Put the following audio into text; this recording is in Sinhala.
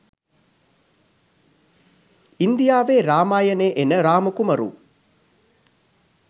ඉන්දියාවේ රාමායනේ එන රාම කුමරු